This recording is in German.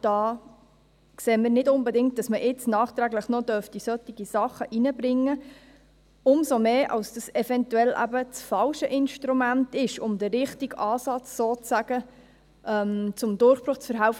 Wir sehen nicht unbedingt, dass man nachträglich noch solche Sachen einbringen kann, umso mehr, als dies eventuell das falsche Instrument ist, um dem richtigen Ansatz zum Durchbruch zu verhelfen.